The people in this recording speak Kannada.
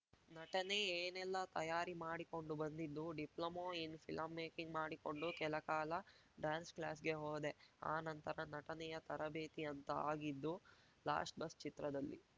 ನಟನೆ ಏನೆಲ್ಲ ತಯಾರಿ ಮಾಡಿಕೊಂಡು ಬಂದಿದ್ದು ಡಿಪ್ಲೊಮೋ ಇನ್‌ ಫಿಲಮ್‌ ಮೇಕಿಂಗ್‌ ಮಾಡಿಕೊಂಡು ಕೆಲ ಕಾಲ ಡ್ಯಾನ್ಸ್‌ ಕ್ಲಾಸ್‌ಗೆ ಹೋದೆ ಆ ನಂತರ ನಟನೆಯ ತರಬೇತಿ ಅಂತ ಆಗಿದ್ದು ಲಾಸ್ಟ್‌ ಬಸ್‌ ಚಿತ್ರದಲ್ಲಿ